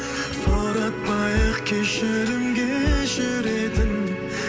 сұратпайық кешірімге жүретін